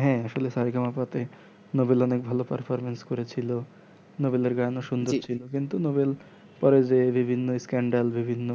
হ্যাঁ আসলে সা রে গা মা পা তে নোবেলের অনেক ভালো performance করেছিল নোবেলের এর গান ও সুন্দর ছিল কিন্তু নোবেলের পরে যে বিভিন্ন scandel বিভিন্ন